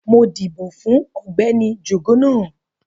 Mo ń dìbò fún Ọ̀gbẹ́ni Jugunu